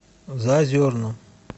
заозерном